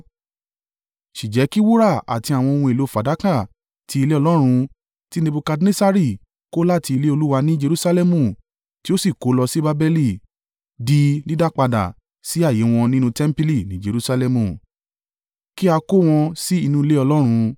Sì jẹ́ kí wúrà àti àwọn ohun èlò fàdákà ti ilé Ọlọ́run, tí Nebukadnessari kó láti ilé Olúwa ní Jerusalẹmu tí ó sì kó lọ sí Babeli, di dídápadà sí ààyè wọn nínú tẹmpili ní Jerusalẹmu; kí a kó wọn sí inú ilé Ọlọ́run.